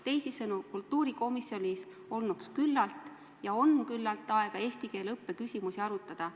Teisisõnu, kultuurikomisjonil olnuks ja on küllalt aega eesti keele õppe küsimusi arutada.